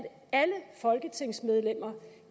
alle folketingsmedlemmer